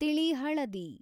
ತಿಳಿ ಹಳದಿ